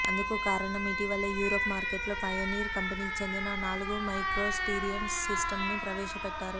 అందుకు కారణం ఇటీవలే యూరప్ మార్కెట్లో పయనీర్ కంపెనీకి చెందిన నాలుగు మైక్రో స్టీరియో సిస్టమ్స్ని ప్రవేశపెట్టారు